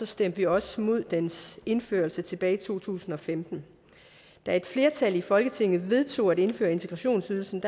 stemte vi også imod dens indførelse tilbage i to tusind og femten da et flertal i folketinget vedtog at indføre integrationsydelsen